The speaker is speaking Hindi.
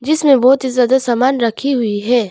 इसमें बहुत ही ज्यादा सामान रखी हुई है।